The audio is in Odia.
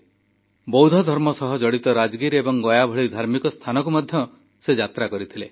ସେ ବୌଦ୍ଧଧର୍ମ ସହ ଜଡ଼ିତ ରାଜଗିର୍ ଏବଂ ଗୟା ଭଳି ଧାର୍ମିକ ସ୍ଥାନକୁ ମଧ୍ୟ ଯାତ୍ରା କରିଥିଲେ